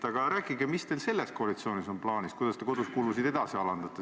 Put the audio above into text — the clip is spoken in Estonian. Aga rääkige, mis teil selles koalitsioonis plaanis on: kuidas te kodukulusid edasi alandate?